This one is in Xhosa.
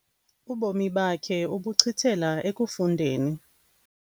Ubomi bakhe ubuchithela ekufundeni.